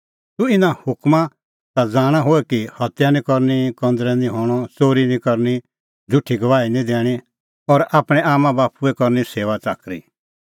तूह इना हुकमा ता ज़ाणा होए कि हत्या निं करनी कंज़रै निं हणअ च़ोरी निं करनी झ़ुठी गवाही निं दैणीं और आपणैं आम्मांबाप्पूए करनी सेऊआच़ाकरी